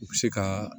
U bɛ se ka